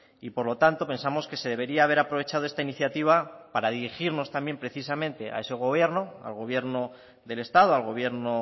y por lo tanto pensamos que se debería haber aprovechado esta iniciativa para dirigirnos también precisamente a ese gobierno al gobierno del estado al gobierno